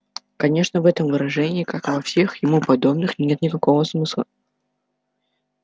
конечно в этом выражении как и во всех ему подобных нет никакого смысла